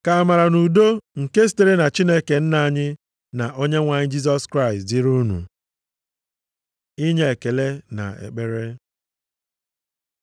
Ka amara na udo nke sitere na Chineke Nna anyị, na Onyenwe anyị Jisọs Kraịst dịrị unu. Inye ekele na ekpere